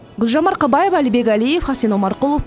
гүлжан марқабаева әлібек әлиев хасен омарқұлов